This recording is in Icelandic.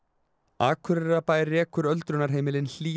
Akureyrarbær rekur öldrunarheimilin Hlíð